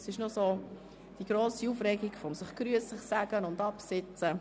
Es herrscht noch immer grosse Aufregung mit Begrüssung und Platz nehmen.